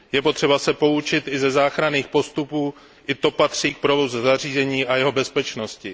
Je potřeba se poučit i ze záchranných postupů, i to patří k provozu zařízení a jeho bezpečnosti.